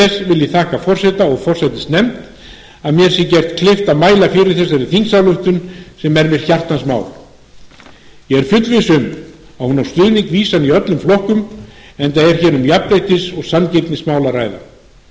ég þakka forseta og forsætisnefnd að mér sé gert kleift að mæla fyrir þessari þingsályktun sem er mér hjartans mál ég er fullviss um að hún á stuðning vísan í öllum flokkum enda